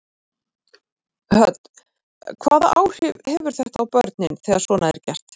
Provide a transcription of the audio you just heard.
Hödd: Hvaða áhrif hefur þetta á börnin þegar svona er gert?